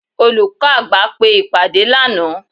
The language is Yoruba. olukọ àgbá pe ìpade laná.